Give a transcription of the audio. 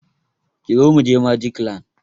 Kizo mu je Magic land!